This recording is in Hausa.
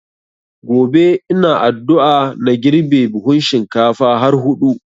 Gobe ina addua na girbe buhun shinkafa har hudu